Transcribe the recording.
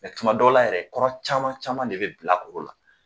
tuma dɔw la yɛrɛ kɔrɔ caman caman de bɛ bilakoro la